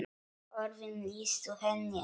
Orðin lýstu henni ekki.